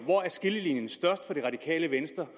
hvor er skillelinjen størst for det radikale venstre